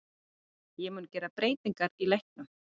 Ég mun gera breytingar í leiknum.